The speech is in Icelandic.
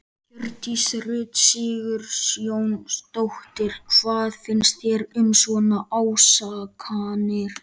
Hjördís Rut Sigurjónsdóttir: Hvað finnst þér um svona ásakanir?